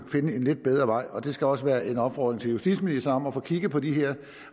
finde en lidt bedre vej det skal også være en opfordring til justitsministeren om at få kigget på de her